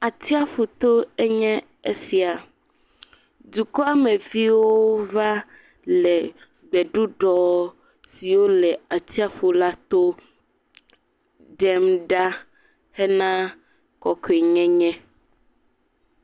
Atiaƒuto enye esia. Dukɔameviwo va le gbeɖuɖɔ siwo le atiaƒu la to ɖem ɖa hena kɔkɔenyenye.